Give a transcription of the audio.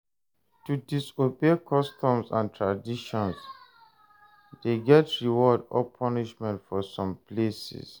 To disobey customs and traditions de get reward or punishment for some places